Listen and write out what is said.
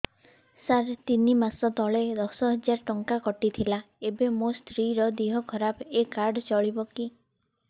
ସାର ତିନି ମାସ ତଳେ ଦଶ ହଜାର ଟଙ୍କା କଟି ଥିଲା ଏବେ ମୋ ସ୍ତ୍ରୀ ର ଦିହ ଖରାପ ଏ କାର୍ଡ ଚଳିବକି